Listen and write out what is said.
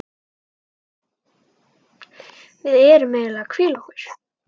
Við erum eiginlega að hvíla okkur.